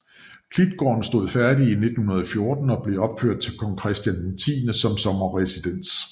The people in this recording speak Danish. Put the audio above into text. Klitgaarden stod færdig i 1914 og blev opført til Kong Christian X som sommerresidens